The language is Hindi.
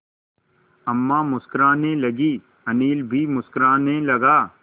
अम्मा मुस्कराने लगीं अनिल भी मुस्कराने लगा